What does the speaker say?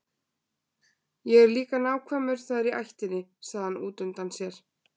Ég er líka nákvæmur, það er í ættinni, sagði hann útundann sér.